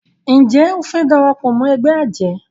Njé o fe darapọ̀ mọ ègbé ajé?